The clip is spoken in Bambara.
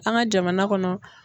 An ka jamana kɔnɔ.